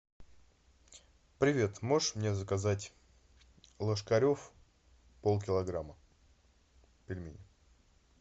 привет можешь мне заказать ложкарев полкилограмма пельмени